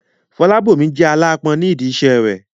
Fọlábòmí jẹ́ aláápọn nídi iṣẹ́ rẹ̀